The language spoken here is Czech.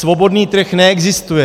Svobodný trh neexistuje.